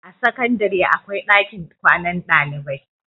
a sakandare akwai ɗakin kwanan ɗalibai